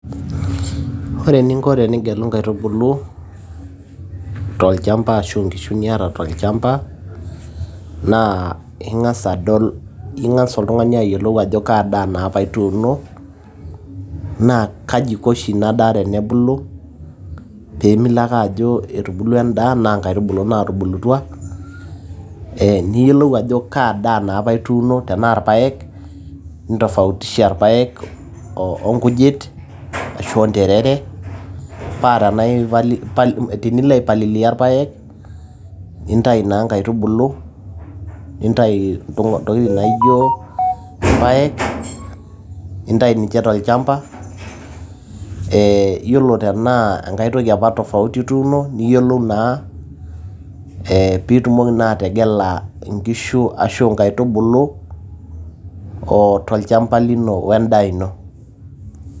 Ore eninko tenigelu inkaitubulu, tolchamba ashu nkishu niata tolchamba, naa ing'asa adol ing'asa oltung'ani ayiolou ajo kadaa naapa ituuno, na kaji iko oshi inadaa tenebulu, pemilo ake ajo etubulua endaa na inkaitubulu natubulutua, ah niyiolou ajo kadaa naapa itunoo tenaa irpaek, nintofautisha irpaek onkujit ashu onterere, patenilo aipalilia irpaek, nintayu naa inkaitubulu, nintayu intokiting' naijo irpaek, nintayu ninche tolchamba. Yiolo tenaa enkae toki apa tofauti apa ituuno, niyiolou naa pitumoki naa ategela inkishu ashu inkaitubulu, tolchamba lino wendaa ino.